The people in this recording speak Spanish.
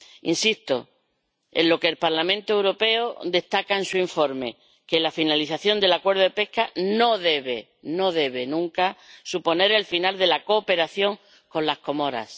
Insisto en lo que el Parlamento Europeo destaca en su informe que la finalización del acuerdo de pesca no debe, no debe nunca, suponer el final de la cooperación con las Comoras.